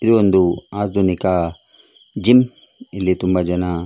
ಇದೊಂದು ಆದುನಿಕ ಜಿಮ್ ಇಲ್ಲಿ ತುಂಬ ಜನ --